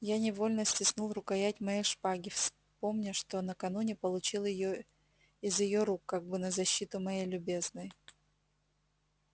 я невольно стиснул рукоять моей шпаги вспомня что накануне получил её из её рук как бы на защиту моей любезной